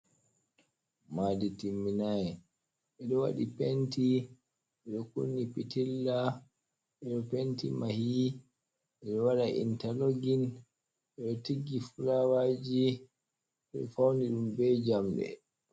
Madi timminai ɓeɗo waɗi penti ɓe kunni pitilla eɗo penti mahiyi re waɗa intalogin ɓeɗo tiggi fulawaji ɓeɗo fauni ɗum be jamɗe.